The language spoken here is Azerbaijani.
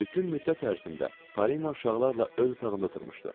Bütün müddət ərzində Parina uşaqlarla öz otağında oturmuşdu.